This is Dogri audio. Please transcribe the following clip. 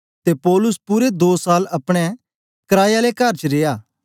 ते पौलुस पूरे दो साल अपने कराये आले कर च रिया